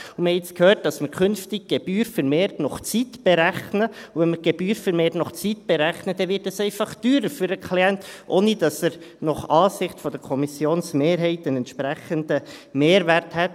Wir haben nun gehört, dass man künftig die Gebühr vermehrt nach Zeit berechnet, und wenn man die Gebühr vermehrt nach Zeit berechnet, dann wird es für den Klienten einfach teurer, ohne dass er nach Ansicht der Kommissionmehrheit einen entsprechenden Mehrwert hätte.